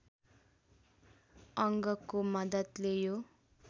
अङ्गको मद्दतले यो